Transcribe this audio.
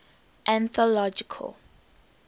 anthological